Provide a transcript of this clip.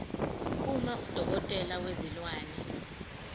uma udokotela wezilwane